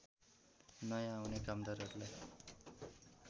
नयाँ आउने कामदारहरूलाई